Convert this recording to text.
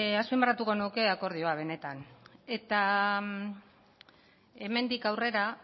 azpimarratuko nuke akordioa benetan eta hemendik aurrera